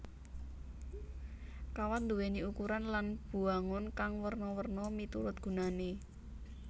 Kawat nduwéni ukuran lan bwangun kang werna werna miturut gunané